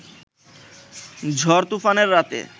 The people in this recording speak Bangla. ঝড়-তুফানের রাতে